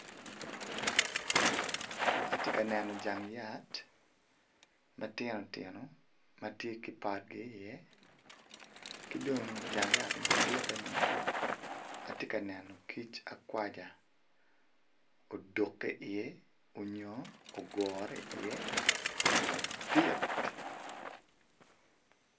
Atye ka neno jang yat ma tino tino ma tye ki potgi iye ki dong jang yat ma ditteni atye ka neno kic akwaja odukke iye nyo ogure iye madit.